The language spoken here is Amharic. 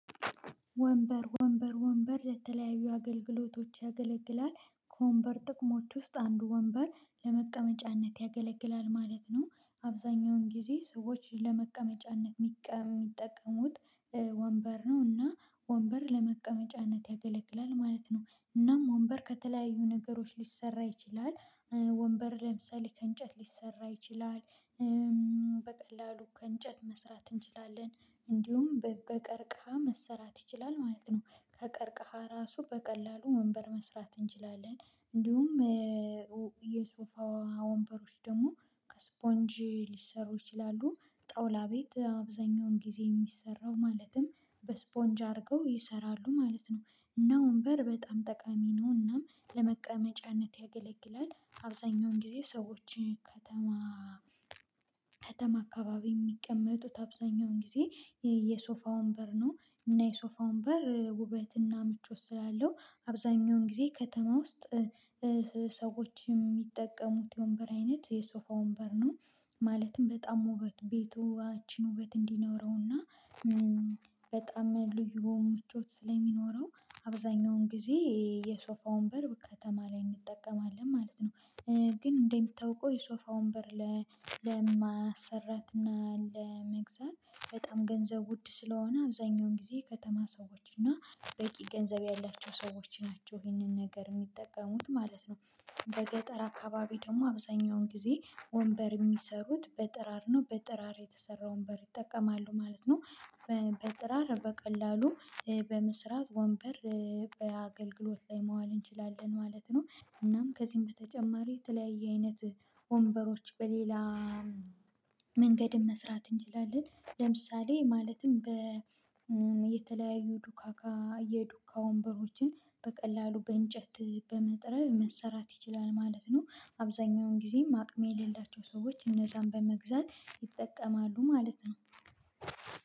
ወንበር ወንበር ወንበር ለተለያዩ አገልግሎቶች ያገለግላል ከወንበር ጥቅሞች ውስጥ አንድ ወንበር ለመቀመጫነት ያገለግላል ማለት ነው። አብዛኛውን ጊዜ ሰዎችን ለመቀመጫነት የሚጠቀሙት። ወንበር ነው እና ወንበር ለመቀመጫነት ያገለግላል ማለት ነው። እናም ወንበር ከተለያዩ ነገሮች ሊሰራ ይችላል። ወንበር ለምሳሌ ከእንጨት ሊሰራ ይችላል። በቀላሉ ከእንጨት መስራት እንችላለን እንዲሁም በቀርቃሃ መሰራት ይችላል ማለት ነው። ከቀርቀሃ ራሱ በቀላሉ ወንበር መስራት እንችላለን እንዲሁም የሶፋ ወንበሮች ደግሞ ከስፖንጅ ሊሰሩ ይችላሉ። ጠውላ ቤት አብዛኛውን ጊዜ የሚሰራው ማለትም በስፖንጅ አድርገው ይሰራሉ ማለት ነው። እና ወንበር በጣም ጠቃሚ ነው ነውና ለመቀመጫነት ያገለግላል አብዛኛውን ጊዜ ሰዎችን ከተማ አካባቢ የሚቀመጡት አብዛኛውን ጊዜ የሶፋውን በር ነው እና የሶፋውን በር ውበትና ምቾት ስላለው አብዛኛውን ጊዜ ከተማ ውስጥ ሰዎች የሚጠቀሙት የወንበር አይነት የሶፋ ወንበር ነው። ማለትም በጣም ውበት ቤቷችን ውበት እንዲኖረውና በጣም ልዩ ሙቾት ስለሚኖረው አብዛኛውን ጊዜ የሶፋውን በር ከተማ ላይ እንጠቀማለን ማለት ነው። ግን እንደምታውቀው የሶፋ ወንበር ለማሰራት ለማሰራትና ለመግዛት በጣም ገንዘብ ውድ ስለሆነ አብዛኛውን ጊዜ ከተማ ሰዎች እና በቂ ገንዘብ ያላቸው ሰዎች ናቸው ይህንን ነገር የሚጠቀሙት ማለት ነው። በገጠር አካባቢ ደግሞ አብዛኛውን ጊዜ ወንበር የሚሰሩት በጥራር ነው በጥራር የተሰራ ወንበር ይጠቀማሉ ማለት ነው። በጥራር በቀላሉ በመስራት ወንበር በአገልግሎት ላይ መዋል እንችላለን ማለት ነው። እናም ከዚህም በተጨማሪ የተለያየ አይነት ወንበሮች በሌላ መንገድም መስራት እንችላለን ለምሳሌ ማለትም በየተለያዩ ዱካካ የዱካ ወንበሮችን በቀላሉ በእንጨት በመጥረብ መሰራት ይችላል ማለት ነው። ጊዜ አቅም የሌላቸው ሰዎች እነዛን በመግዛት ይጠቀማሉ ማለት ነው